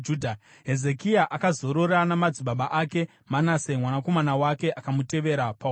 Hezekia akazorora namadzibaba ake. Manase mwanakomana wake akamutevera paumambo.